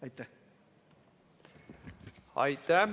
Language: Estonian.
Aitäh!